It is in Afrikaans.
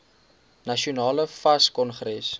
nasionale fas kongres